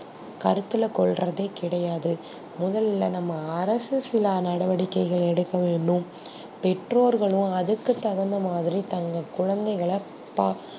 கருத்துல கொல்றதே கிடையாது மோதல நம்ப அரசு நடவடிக்கை எடுக்கணும் பெட்டோர்களும் அதுக்கு தகுந்தா மாதிரி தங்கள் குழந்தைகல